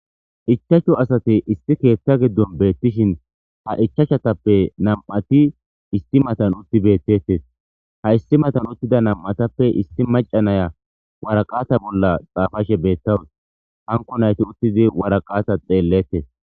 ichachu asate isti keeththa giddon beettishin ha ichachatappe nam7ati isti matan utti bettettes haissi matan uttida nam'atap isti maca naya waraqata bolla xaafashe beettawus hanko nayti uttidi waraqata xeellettes.